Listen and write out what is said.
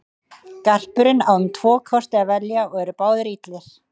Garpurinn á um tvo kosti að velja og eru báðir illir.